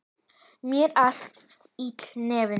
Mér var illt í nefinu.